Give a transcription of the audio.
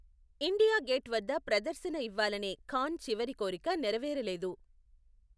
India Gate వద్ద ప్రదర్శన ఇవ్వాలనే ఖాన్ చివరి కోరిక నెరవేరలేదు.